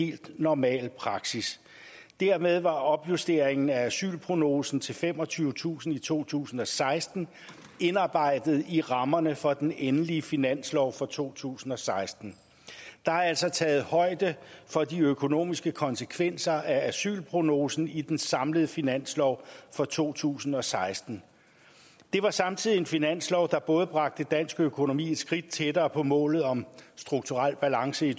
helt normal praksis dermed var opjustering af asylprognosen til femogtyvetusind i to tusind og seksten indarbejdet i rammerne for den endelige finanslov for to tusind og seksten der er altså taget højde for de økonomiske konsekvenser af asylprognosen i den samlede finanslov for to tusind og seksten det var samtidig en finanslov der både bragte dansk økonomi et skridt tættere på målet om strukturel balance i